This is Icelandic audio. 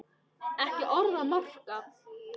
Ekki orð að marka.